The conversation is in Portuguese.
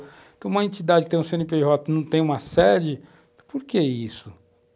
Então, uma entidade que tem um Cê ene pê jota e não tem uma sede, por que isso?